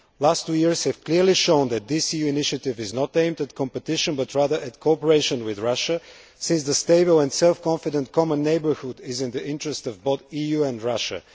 The last two years have clearly shown that this EU initiative is not aimed at competition, but rather at cooperation with Russia, since the stable and self confident common neighbourhood is in the interests of both the EU and Russia.